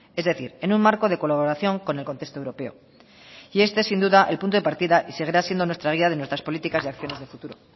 es decir en un marco de colaboración con el contexto europeo y este es sin duda el punto de partida y seguirá siendo nuestra guía de nuestras políticas de acciones de futuro